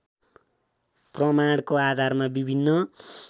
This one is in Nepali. प्रमाणको आधारमा विभिन्न